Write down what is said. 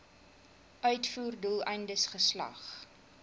uitvoer doeleindes geslag